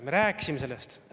Me rääkisime sellest.